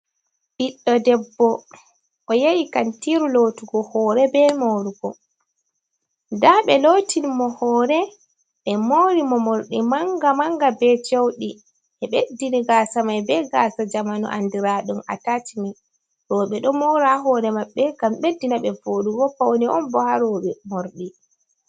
Ɓiɗɗo debbo o yehi kantiru lotugo hore be marugo, nda ɓe lotini mo hore ɓe mori mo, morɗi manga manga, ɓe cewdi ɓeddini mo gasa mai be gasa jamanu andiraɗun a tacimi, roɓe ɗo mora hore maɓɓe gam ɓeddina ɓe voɗugo, pawni on bo haroɓe morɗi.